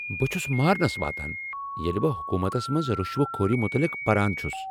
بہ چھُس مارٕنس واتان ییلہِ بہٕ حكوٗمتس منز رشوٕ خوری متعلق پران چھُس ۔